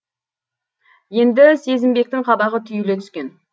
енді сезімбектің қабағы түйіле түскен